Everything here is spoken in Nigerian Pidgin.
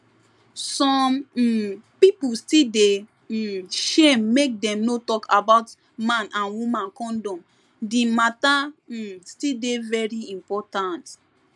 some um pipu still dey um shame make dem no talk about man and woman condom di matter um still dey very important